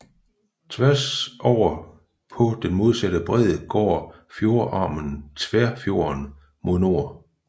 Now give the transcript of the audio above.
Tværs over på den modsatte bred går fjordarmen Tverrfjorden mod nord